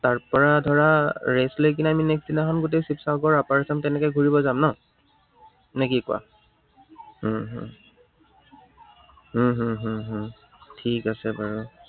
তাৰপৰা ধৰা rest লৈ কিনে আমি next দিনাখন গোটেই শিৱসাগৰ upper assam তেনেকে ঘূৰিব যাম ন? নে কি কোৱা? উম হম উম হম হম উম ঠিক আছে বাৰু।